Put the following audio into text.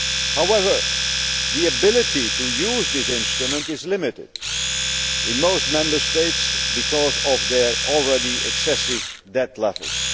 However, the ability to use this instrument is limited in most Member States, because of their already excessive debt levels.